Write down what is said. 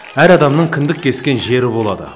әр адамның кіндік кескен жері болады